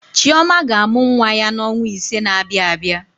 Chioma ga-amụ nwa ya n'ọnwa ise na-abịa abịa.